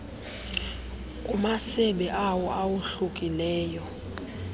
kumasebe awo awohlukileyo